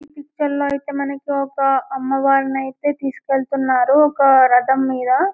ఈ పిక్చర్లో అయితే మనకు ఒక అమ్మవారిని అయితే తీసుకెళుతున్నారు ఒక రథం మీద --